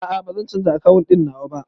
A'a, bazan canza akawun ɗin nawa ba